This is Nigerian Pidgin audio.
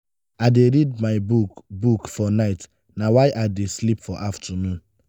i dey read my book book for night na why i dey sleep for afternoon.